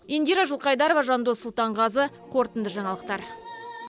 индира жылқайдарова жандос сұлтанғазы қорытынды жаңалықтар